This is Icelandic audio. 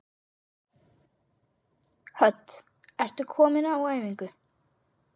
Hödd: Ertu nýkominn á æfingu?